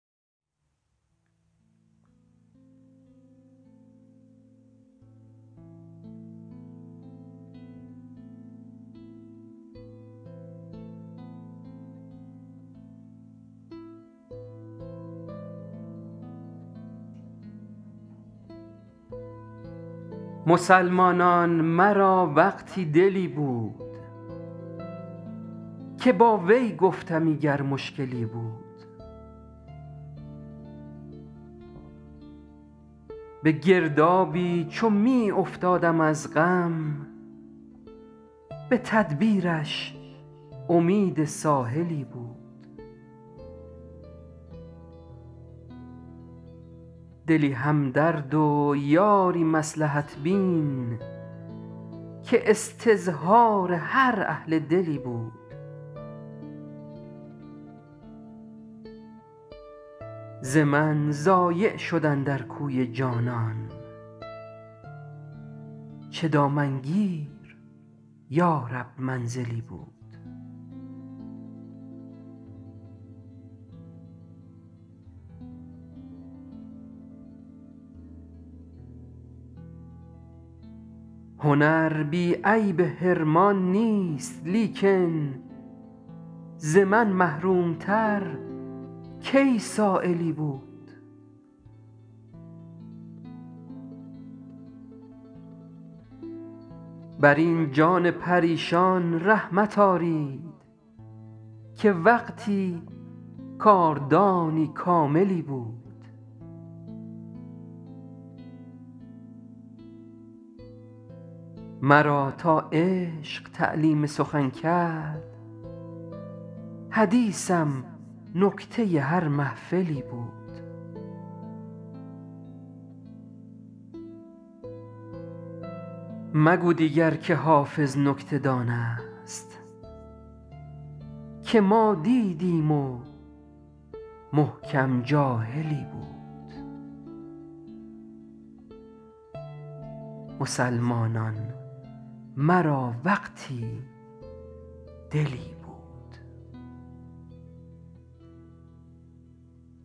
مسلمانان مرا وقتی دلی بود که با وی گفتمی گر مشکلی بود به گردابی چو می افتادم از غم به تدبیرش امید ساحلی بود دلی همدرد و یاری مصلحت بین که استظهار هر اهل دلی بود ز من ضایع شد اندر کوی جانان چه دامنگیر یا رب منزلی بود هنر بی عیب حرمان نیست لیکن ز من محروم تر کی سایلی بود بر این جان پریشان رحمت آرید که وقتی کاردانی کاملی بود مرا تا عشق تعلیم سخن کرد حدیثم نکته هر محفلی بود مگو دیگر که حافظ نکته دان است که ما دیدیم و محکم جاهلی بود